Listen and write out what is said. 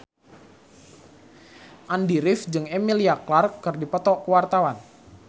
Andy rif jeung Emilia Clarke keur dipoto ku wartawan